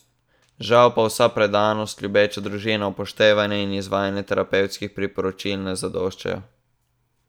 Žal pa vsa predanost, ljubeča družina, upoštevanje in izvajanje terapevtskih priporočil ne zadoščajo.